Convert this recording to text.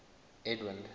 edwind